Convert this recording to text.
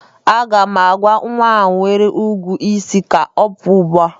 Aga m agwa nwa ahụ nwere igwu isi ka ọ pụa ugbua!